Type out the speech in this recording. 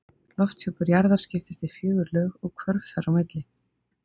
Lofthjúpur jarðar skiptist í fjögur lög og hvörf þar á milli.